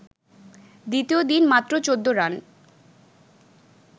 দ্বিতীয় দিন মাত্র ১৪ রান